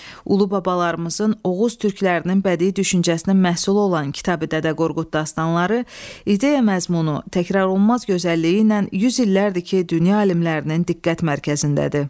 Ulubabalarımızın Oğuz türklərinin bədii düşüncəsinin məhsulu olan Kitabi-Dədə Qorqud dastanları ideya məzmunu, təkrarlanmaz gözəlliyi ilə yüz illərdir ki, dünya alimlərinin diqqət mərkəzindədir.